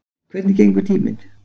Hvernig gengur tíminn?